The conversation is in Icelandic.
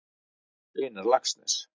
Einar Laxness.